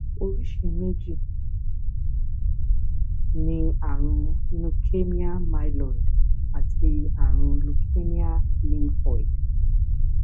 oríṣi méjì ni ààrùn leukemia myeloid àti ààrùn leukemia lymphoid